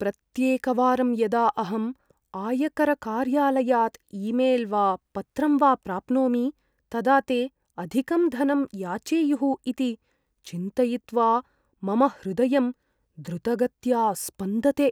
प्रत्येकवारं यदा अहं आयकरकार्यालयात् ईमेल् वा पत्रं वा प्राप्नोमि, तदा ते अधिकं धनं याचेयुः इति चिन्तयित्वा मम हृदयं द्रुतगत्या स्पन्दते।